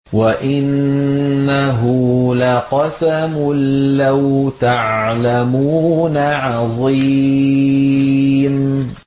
وَإِنَّهُ لَقَسَمٌ لَّوْ تَعْلَمُونَ عَظِيمٌ